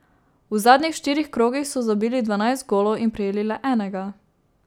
V zadnjih štirih krogih so zabili dvanajst golov in prejeli le enega.